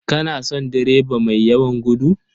Kana son direba mai yawan gudu?